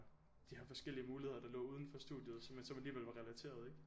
De her forskellige muligheder der lå udenfor studiet som så alligvel var relaterede ikke